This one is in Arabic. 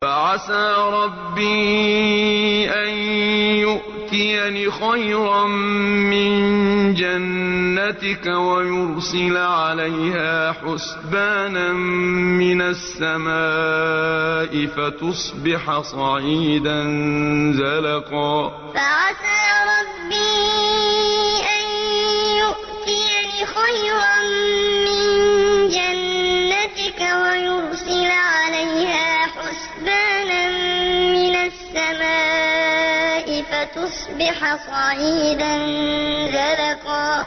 فَعَسَىٰ رَبِّي أَن يُؤْتِيَنِ خَيْرًا مِّن جَنَّتِكَ وَيُرْسِلَ عَلَيْهَا حُسْبَانًا مِّنَ السَّمَاءِ فَتُصْبِحَ صَعِيدًا زَلَقًا فَعَسَىٰ رَبِّي أَن يُؤْتِيَنِ خَيْرًا مِّن جَنَّتِكَ وَيُرْسِلَ عَلَيْهَا حُسْبَانًا مِّنَ السَّمَاءِ فَتُصْبِحَ صَعِيدًا زَلَقًا